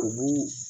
U b'u